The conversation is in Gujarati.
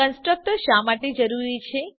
કન્સ્ટ્રક્ટર શા માટે જરૂરી છે